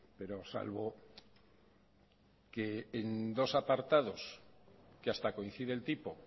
pero salvo que en dos apartados que hasta coincide el tipo